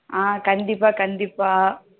ஆஹ் கண்டிப்பா கண்டிப்பா